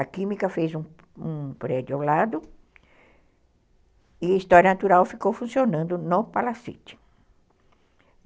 A Química fez um um prédio ao lado e a História Natural ficou funcionando no Palacete.